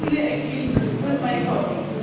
I fully agree with my colleagues.